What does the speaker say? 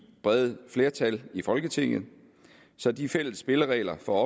brede flertal i folketinget så de fælles spilleregler for